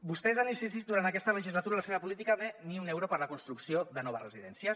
vostès han insistit durant aquesta legislatura en la seva política de ni un euro per a la construcció de noves residències